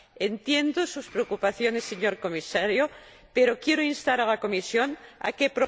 Entiendo sus preocupaciones, señor Comisario, pero quiero instar a la Comisión a que...